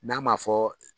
N'a ma fɔ